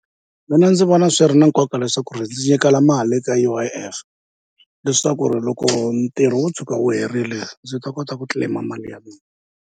Mina ndzi vona swi ri na nkoka leswaku ri ndzi nyikela mali ka U_I_F leswaku ri loko ntirho wo tshuka wu herile ndzi ta kota ku claim-a mali ya mina.